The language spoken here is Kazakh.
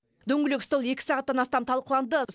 дөңгелек стол екі сағаттан астам талқыланды